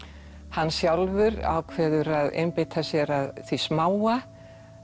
hann sjálfur ákveður að einbeita sér að því smáa